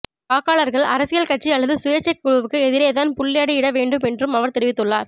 வாக்காளர்கள் அரசியல்கட்சி அல்லது சுயேச்சைக் குழுவுக்கு எதிரேதான் புள்ளடியிட வேண்டும் என்றும் அவர் தெரிவித்துள்ளார்